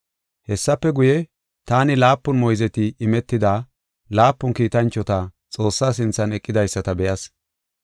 Hessafe guye, taani laapun moyzeti imetida laapun kiitanchota Xoossaa sinthan eqidaysata be7as.